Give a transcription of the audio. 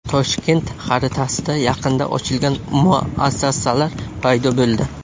Toshkent xaritasida yaqinda ochilgan muassasalar paydo bo‘ldi.